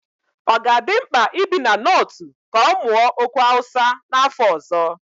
Ọ ga-adị mkpa ibi na Nortu ka ọ mụọ okwu Hausa n'afọ ọzọ?